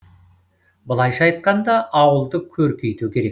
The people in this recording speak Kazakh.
былайша айтқанда ауылды көркейту керек